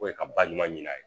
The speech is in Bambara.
ka ba ɲuman ɲini a ye.